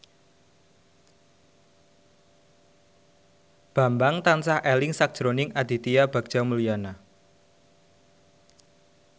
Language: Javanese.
Bambang tansah eling sakjroning Aditya Bagja Mulyana